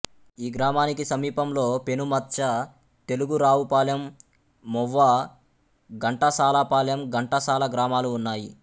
ఈ గ్రామానికి సమీపంలో పెనుమత్చ తెలుగురావుపాలెం మొవ్వ ఘంటసాలపాలెం ఘంటసాల గ్రామాలు ఉన్నాయి